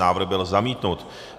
Návrh byl zamítnut.